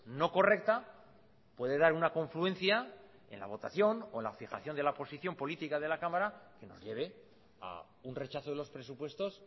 no correcta puede dar una confluencia en la votación o en la fijación de la posición política de la cámara que nos lleve a un rechazo de los presupuestos